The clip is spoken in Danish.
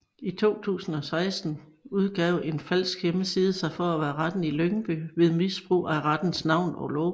I 2016 udgav en falsk hjemmeside sig for at være Retten i Lyngby ved misbrug af rettens navn og logo